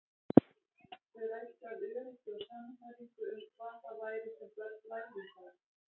Þau ræddu af öryggi og sannfæringu um hvað það væri sem börn lærðu þar.